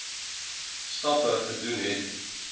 stappe gedoen het